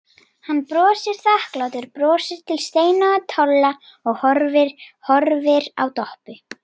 Hann brosir þakklátu brosi til Steina og Tolla og horfir á Doppu.